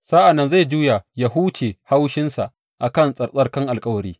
Sa’an nan zai juya ya huce haushinsa a kan tsattsarkan alkawari.